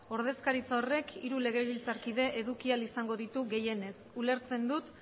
ordezkaritza horrek hiru legebiltzarkide eduki ahal izango ditu gehienez ulertzen dut